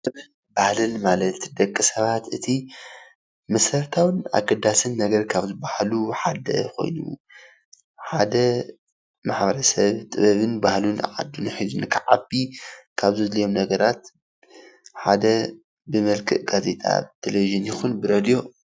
ጥበብን ባህል ማለት ንደቂ ሰባት እቲ መሰረታውን ኣገዳስ ካብ ዝበሃሉ ነገራት ሓደ ኮይኑ ሓደ ማሕበረ ሰብ ጥበብን ባህልን ዓድና ሒዙ ንክዓቢ ካብ ዘድልዮም ነገራት ሓደ ብመልክዕ ጋዜጣ ፣ቴሌቪዠን ይኩን ብሬድዮ